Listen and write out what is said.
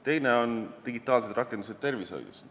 Teiseks, digitaalsed rakendused tervishoius.